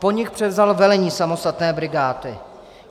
Po nich převzal velení samostatné brigády.